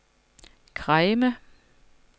Kregme